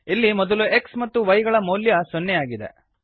ಇಲ್ಲಿ ಮೊದಲು x ಮತ್ತು y ಗಳ ಮೌಲ್ಯ ಸೊನ್ನೆಯಾಗಿದೆ